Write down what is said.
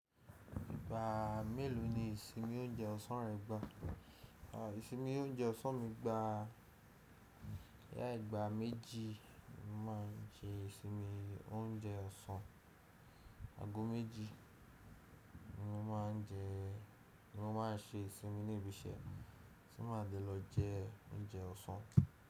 Ìgbà mélòó ni ìsinmi oúnjẹ ọsàn rẹ gbà? Ìsinmi oúnjẹ ọsàn mi gbà, ya ìgbà méjì mo ma ń jẹ ìsinmi oúnjẹ ọsàn, ago méjì ni mo ma ń jẹ, ni mo ma ń se ìsinmi ni ibisẹ́ tí máa de lọ jẹ oúnjẹ ọsàn.